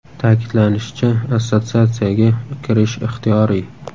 Ta’kidlanishicha, assotsiatsiyaga kirish ixtiyoriy.